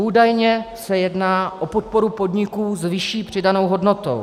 Údajně se jedná o podporu podniků s vyšší přidanou hodnotou.